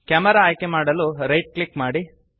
camera ಆಯ್ಕೆಮಾಡಲು right click ಮಾಡಿ